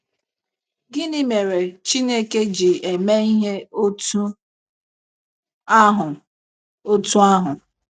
Gịnị mere Chineke ji eme ihe otú ahụ? otú ahụ?